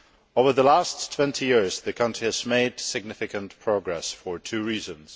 Over the last 20 years, the country has made significant progress for two reasons.